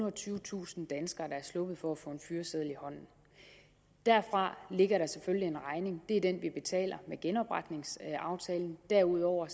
og tyvetusind danskere der er sluppet for at få en fyreseddel i hånden derfra ligger der selvfølgelig en regning det er den vi betaler med genopretningsaftalen derudover